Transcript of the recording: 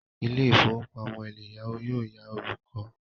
Ilé ìfowópamọ́ eleyawo yóò yá olùkọ́.